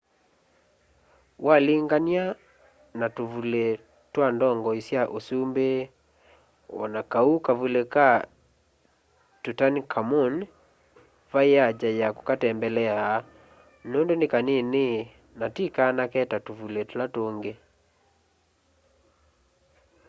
walingany'a na tũvũlĩ twa ndongoĩ sya ũsũmbĩ o na kaũ kavũlĩ ka tũtankhamũn vaĩ aja ya kũkatembelea nũndũ nĩ kanĩĩnĩ na tĩ kanake ta tũvũlĩ tũla tũngĩ